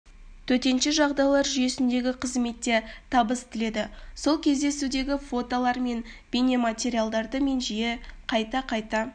төтенше жағдайлар жүйесіндегі қызметте табыс тіледі сол кездесудегі фотолар мен бейнематериалдарды мен жиі қайта қайта